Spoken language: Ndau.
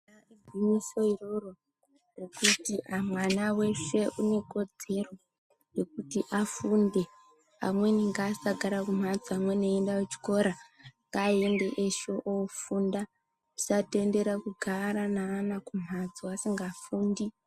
Igwinyiso iroro ngekuti mwana wese unekodzero yekuti afunde .Amweni ngaasagara kumhatso amweni eienda kuchikora ,ngaaende eshe oofunda musatendera kugara neana kumhatso asingafundi.